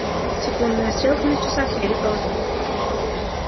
секундная стрелка на часах еле ползёт